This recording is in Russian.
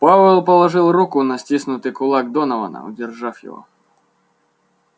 пауэлл положил руку на стиснутый кулак донована удержав его